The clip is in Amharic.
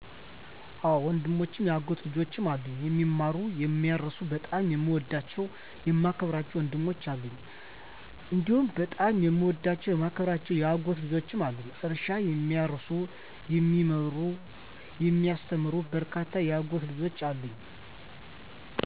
አወ ወንድሞችም የአጎት ልጆችም አሉኝ፦ የሚማሩ፣ የሚያርሱ በጣም የምወዳቸው የማከብራቸው ወንድሞች አሉኝ፤ *እንዲሁም በጣም የምወዳቸውና የማከብራቸው የአጎት ልጆችም አሉኝ፤ *እርሻ የሚያርሱ *የሚማሩ *የሚያስተምሩ በርካታ የአጎት ልጆች አሉኝ።